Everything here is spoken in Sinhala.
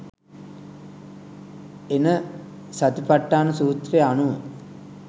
එන සතිඵට්ඨාන සූත්‍රය අනුව